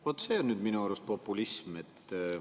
Vaat see on nüüd minu arust populism.